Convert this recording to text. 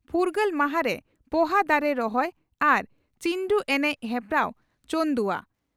ᱯᱷᱩᱨᱜᱟᱹᱞ ᱢᱟᱦᱟᱨᱮ ᱯᱚᱦᱟ ᱫᱟᱨᱮ ᱨᱚᱦᱚᱭ ᱟᱨ ᱪᱤᱱᱰᱩ ᱮᱱᱮᱡ ᱦᱮᱯᱨᱟᱣ ᱪᱚᱱᱫᱩᱣᱟ